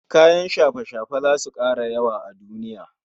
Kayan shafe-shafe zasu kara yawa a duniya